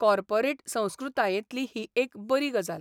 Corporate संस्कृतायेंतली ही एक बरी गजाल.